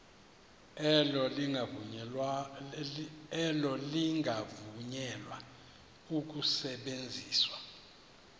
elo lingavunyelwa ukusebenzisa